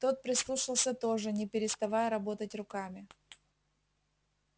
тот прислушался тоже не переставая работать руками